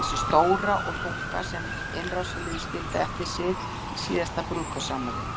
Þessi stóra og þunga sem innrásarliðið skildi eftir sig í síðasta brúðkaupsafmæli?